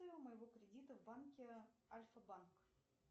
моего кредита в банке альфа банк